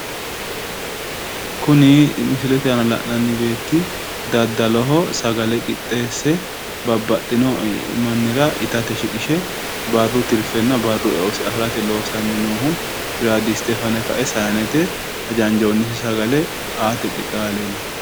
Kuni misilete la'nanni beetti daddaloho sagale qixxeesse babbaxxino mannira itate shiqishe barru tirfenna barru eosi afirate loosanni noohu biradiste fane saanete hajanjonnisi sagele aate qixxaawe leellanno.